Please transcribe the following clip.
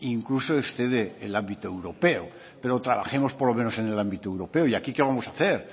incluso excede el ámbito europeo pero trabajemos por lo menos en el ámbito europeo y aquí qué vamos hacer